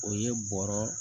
O ye bɔrɔ